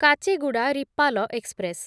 Kacheguda Repalle express